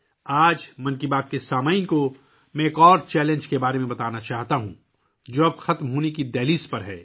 آج میں 'من کی بات' کے سننے والوں کو ایک اور چیلنج کے بارے میں بتانا چاہتا ہوں، جو اب ختم ہونے کو ہے